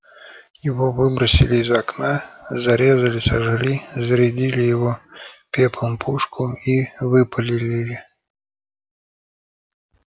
его выбросили из окна зарезали сожгли зарядили его пеплом пушку и выпалили